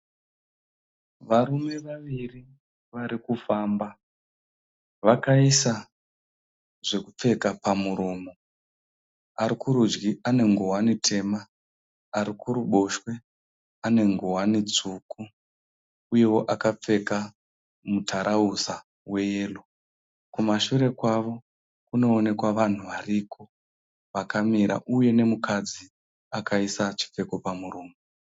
Varume vaviri varikufamba, vakaisa zvokupfeka pamuromo. Arikurudyi ane ngowani tema arikuruboshwe ane ngowani tsvuku uyeo akapfeka mutarauza weyero. Kumashure kwavo kunooneka vanhu variko vakamira uye nemukadzi akaisa chipfeko pamuromo.